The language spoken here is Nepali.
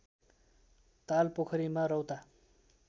ताल पोखरीमा रौता